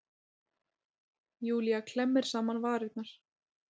Júlía klemmir saman varirnar.